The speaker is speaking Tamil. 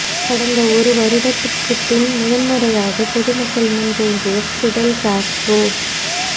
கடந்த ஒரு வருடத்துக்குப் பின் முதன் முறையாகப் பொது மக்கள் முன் தோன்றிய ஃபிடெல் காஸ்ட்ரோ